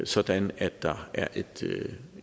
sådan at der er et